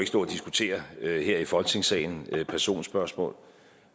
stå og diskutere her i folketingssalen det er et personspørgsmål